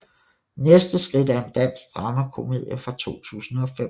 Næste skridt er en dansk dramakomedie fra 2005